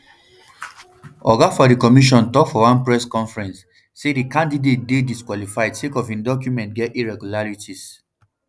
oga for di commission tok for one press conference say di candiate dey disqualified sake of im documents get irregularities